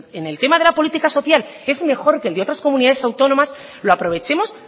en el tema de política social es mejor que el de otras comunidades autónomas lo aprovechemos